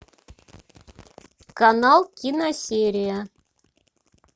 канал киносерия